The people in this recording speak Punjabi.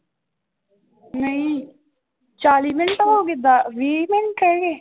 ਨਹੀਂ ਚਾਲੀ ਮਿੰਟ ਹੋ ਗਏ ਬ ਵੀਹ ਮਿੰਟ ਰਹਿ ਗਏ?